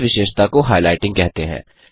इस विशेषता को हाइलाइटिंग कहते हैं